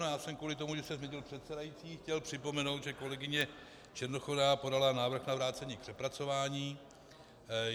Já jsem kvůli tomu, že se změnil předsedající, chtěl připomenout, že kolegyně Černochová podala návrh na vrácení k přepracování.